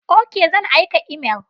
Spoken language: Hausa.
Ok, zan aika imel.